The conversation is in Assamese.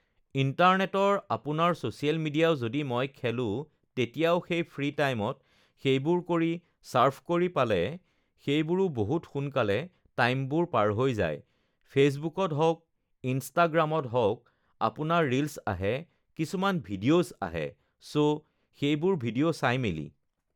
ইণ্টাৰনেটৰ আপোনাৰ ছ'চিয়েল মিডিয়াও যদি মই খোলোঁ তেতিয়াও সেই ফ্ৰী টাইমত সেইবোৰ কৰি চাৰ্ফ কৰি পালে সেইবোৰো বহুত সোনকালে টাইমবোৰ পাৰ হৈ যায় ফেচবুকত হওক ইনষ্টাগ্ৰামত হওক আপোনাৰ ৰীলছ আহে কিছুমান ভিডিঅ'ছ আহে ছ' সেইবোৰ ভিডিঅ' চাই মেলি